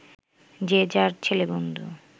যে যার ছেলেবন্ধু